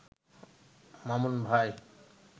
মামুন ভাই